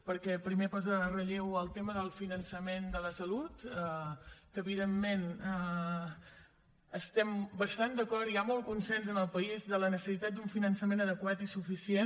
perquè primer posa en relleu el tema del finançament de la salut que evidentment hi estem bastant d’acord i hi ha molt consens en el país de la necessitat d’un finançament adequat i suficient